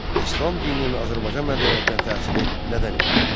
İslam dininin Azərbaycan mədəniyyətinə təsiri nədən ibarət oldu?